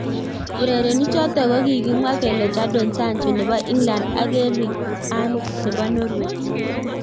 Urerenichoton kokigimwa kele Jadon Sancho nebo England ak Erling Halnd nebo Norway